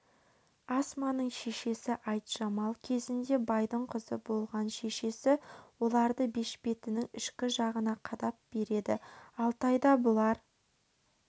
асманың шешесі айтжамал кезінде байдың қызы болған шешесі оларды бешпетінің ішкі жағына қадап береді алтайда бұлар